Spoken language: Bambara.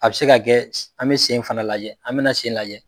A bɛ se ka kɛ an bɛ sen fana lajɛ, an bɛ la sen lajɛ.